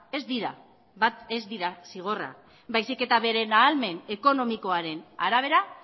ez dira zigorra baizik eta bere ahalmen ekonomikoaren arabera